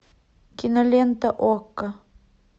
кинолента окко